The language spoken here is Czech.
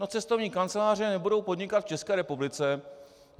No cestovní kanceláře nebudou podnikat v České republice.